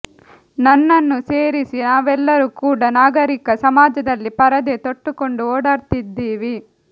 ನನ್ನನ್ನೂ ಸೇರಿಸಿ ನಾವೆಲ್ಲರೂ ಕೂಡಾ ನಾಗರೀಕ ಸಮಾಜದಲ್ಲಿ ಪರದೇ ತೊಟ್ಟುಕೊಂಡು ಓಡಾಡ್ತಿದ್ದೀವಿ